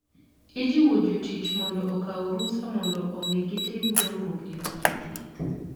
Ijiwo jotich mondo okaw rusa mondo omi gitim dongruok e weche thieth.